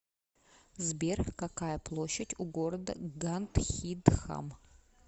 сбер какая площадь у города гандхидхам